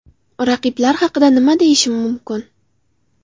Raqiblar haqida nima deyishim mumkin?